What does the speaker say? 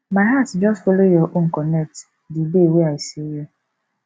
my heart just folo your own connect di day wey i see you